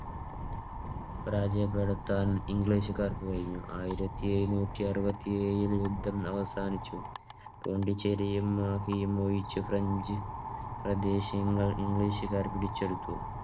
പരാജയപ്പെടുത്താൻ ഇംഗ്ലീഷുകാർക്ക് കഴിഞ്ഞു. ആയിരത്തിഎഴുനൂറ്റിഅറുപത്തിയേഴിൽ യുദ്ധം അവസാനിച്ചു. പോണ്ടിച്ചേരിയും മാഫിയും ഒഴിച്ച് ഫ്രഞ്ച് പ്രദേശങ്ങൾ ഇംഗ്ലീഷുകാർ പിടിച്ചെടുത്തു.